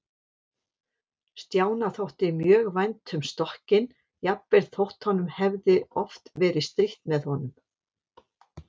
Stjána þótti mjög vænt um stokkinn, jafnvel þótt honum hefði oft verið strítt með honum.